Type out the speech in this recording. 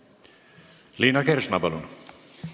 Liina Kersna, palun!